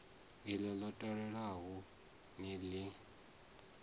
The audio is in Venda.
iḽo ḽo talelwaho ni ḽi